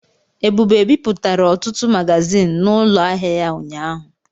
Ebube bipụtara ọtụtụ magazịn n'ụlọ ahịa ya ụnyaahụ.